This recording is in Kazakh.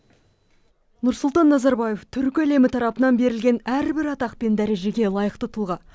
нұрсұлтан назарбаев түркі әлемі тарапынан берілген әрбір атақ пен дәрежеге лайықты тұлға